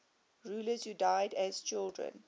rulers who died as children